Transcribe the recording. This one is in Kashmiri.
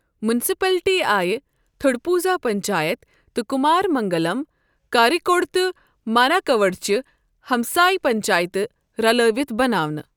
میونسپلٹی آیہِ تھوڈپوزا پنچایت تہٕ کمارمنٛگلم، کاریکوڈ تہٕ ماناکاوڈچہِ ہمسایہِ پنچایتہٕ رلٲوِتھ بناونہٕ۔